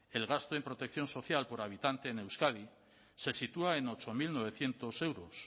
el gasto en protección social por habitante en euskadi se sitúa en ocho mil novecientos euros